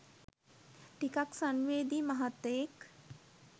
ටිකක් සංවේදී මහත්තයෙක්